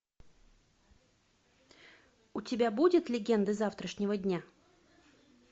у тебя будет легенды завтрашнего дня